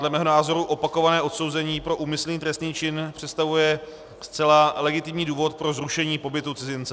Dle mého názoru opakované odsouzení pro úmyslný trestný čin představuje zcela legitimní důvod pro zrušení pobytu cizince.